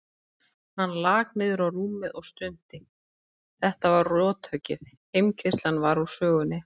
Hann lak niður á rúmið og stundi, þetta var rothöggið, heimkeyrslan var úr sögunni.